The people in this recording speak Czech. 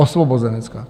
Osvobozenecká!